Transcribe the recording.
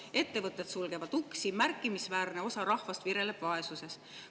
Ettevõtted sulgevad uksi, märkimisväärne osa rahvast vireleb vaesuses.